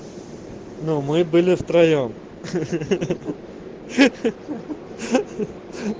ну мы были втроём хи-хи